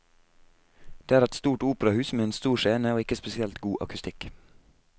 Det er et stort operahus, med en stor scene og ikke spesielt god akustikk.